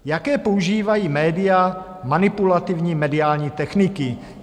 Jaké používají média manipulativní mediální techniky?